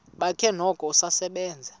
bakhe noko usasebenza